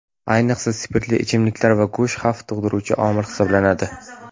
Ayniqsa, spirtli ichimliklar va go‘sht xavf tug‘diruvchi omil hisoblanadi.